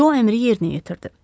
Co əmri yerinə yetirdi.